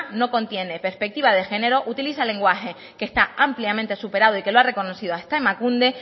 no contiene perspectiva de género utiliza el lenguaje que está ampliamente superado y que lo ha reconocido hasta emakunde